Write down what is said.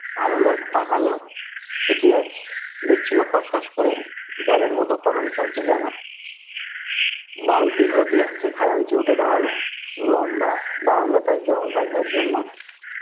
ভালো লোক পাকা লোক, চিঠি আজ লিখছিলো খস খস করে, জলের মতো কলম চলছে যেন। বালতি ঘটি আছে খাজাঞ্চি উঠে দাঁড়ালো, লম্বা বারান্দাটায় জল রাখবার জন্য